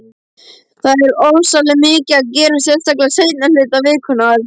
Það er ofsalega mikið að gera, sérstaklega seinni hluta vikunnar.